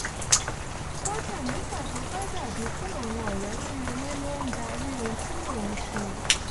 kódà nígbà tó bá dàbíi pé àwọn ọ̀rẹ́ tí mo ní ló ń darí ohun tí mò ń ṣe